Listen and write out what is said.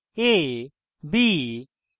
a b x zero